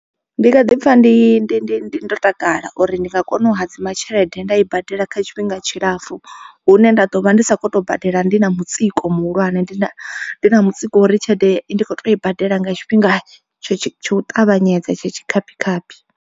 Ndi nga ḓi pfha ndi ndi ndi ndi ndo takala uri ndi nga kona u hadzima tshelede nda i badela kha tshifhinga tshilapfu. Hune nda ḓo vha ndi sa kho to badela ndi na mutsiko muhulwane ndi na ndi na mutsiko uri tshelede i ndi kho to i badela nga tshifhinga tsho tsho u ṱavhanyedza tsha tshikhaphi khaphi.